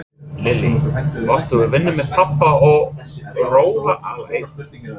Lillý: Varstu að vinna með pabba og róla alein?